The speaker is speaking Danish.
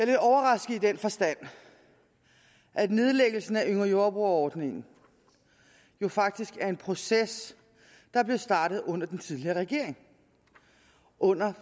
lidt overrasket i den forstand at nedlæggelsen af yngre jordbrugere ordningen jo faktisk er en proces der blev startet under den tidligere regering under